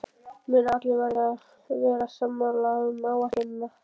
Munið að allir verða að vera sammála um áætlunina.